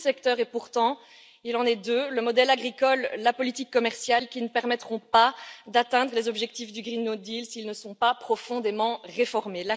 Tous les secteurs et pourtant, il en est deux, le modèle agricole et la politique commerciale, qui ne permettront pas d'atteindre les objectifs du pacte vert s'ils ne sont pas profondément réformés.